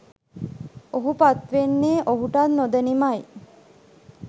ඔහු පත්වෙන්නෙ ඔහුටත් නොදැනීමයි.